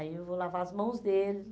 Aí eu vou lavar as mãos deles.